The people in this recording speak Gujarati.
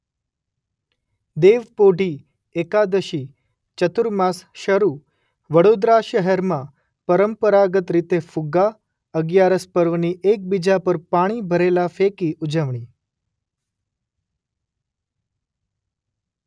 દેવપોઢી એકાદશી ચતુર્માસ શરૂ વડોદરા શહેરમાં પરંપરાગત રીતે ફુગ્ગા અગિયારસ પર્વની એકબીજા પર પાણી ભરેલા ફેંકી ઉજવણી.